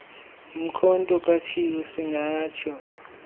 umkhonto katshiwo siingatsho